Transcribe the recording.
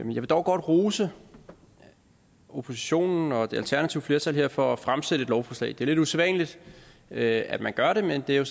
vil dog godt rose oppositionen og det alternative flertal her for at fremsætte et lovforslag det er lidt usædvanligt at at man gør det men det er